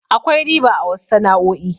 Akwai riba a wasu sana'o'i.